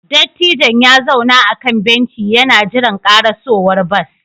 Dattijon ya zauna a kan benci yana jiran karasowar bas